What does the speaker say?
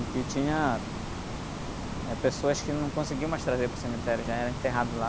E que tinha, eh, pessoas que não conseguiam mais trazer para o cemitério, já eram enterrados lá.